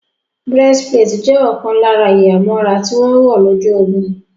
Breastplate jẹ́ ọ̀kan lára ìhámọ́ra tí wọ́n wọ̀ lójú ogun